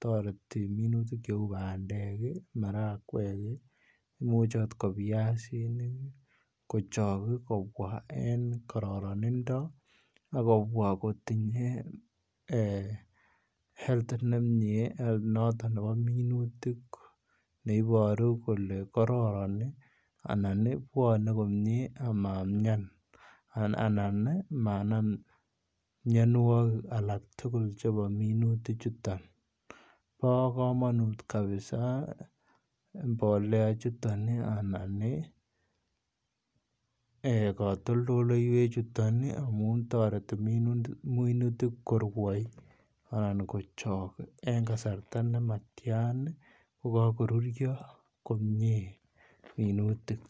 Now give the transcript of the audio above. toreti minutik cheu bandek ii, marakwek ii, imuchi akot ko piasinik ii kochok kobwa en kararanindo, ak kobwa kotinye[um] health ne mie, health noton nebo minutik, neiboru kole kororon ii, anan ii bwone komie amamian anan ii manam mionwogik alak tugul chebo minutichuton, bo kamanut kabisa mbolea chuton ii anan ii um katoltoleiwechuton ii, amun toreti minutik korwoi anan kochok en kasarta nematian ko kakoruryo komie minutik.